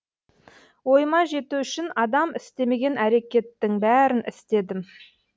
ойыма жету үшін адам істемеген әрекеттің бәрін істедім